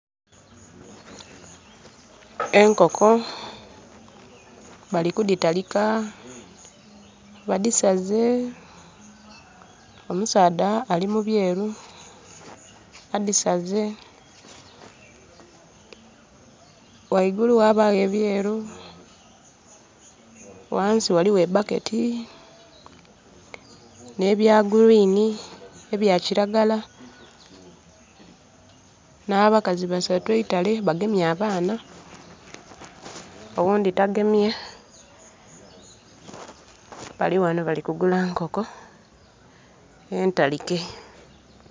Enkoko balikudhitalika badhisaze omusaadha alimubyeeru adhisaze. Ghaigulu ghabagho ebyeeru ghansi ghaligho ebbaketi ebya green ebya kiragala na bakazi basatu eitale bagemye abaana oghundi tagemye Bali ghano balikugula nkoko entalike.